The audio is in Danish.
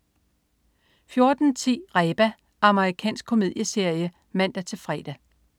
14.10 Reba. Amerikansk komedieserie (man-fre)